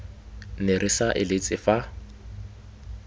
ne re sa eletse fa